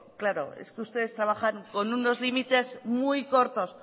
claro es que ustedes trabajan con unos límites muy cortos